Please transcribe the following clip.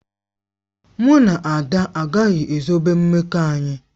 Mụ na Ada agaghị ezobe mmekọ anyị.